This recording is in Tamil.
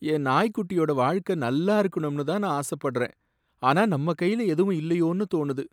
என் நாய்க்குட்டியோட வாழ்க்க நல்லா இருக்கணும்னுதான் நான் ஆசப்படுறேன், ஆனா நம்ம கைல எதுவுமே இல்லையோன்னு தோணுது.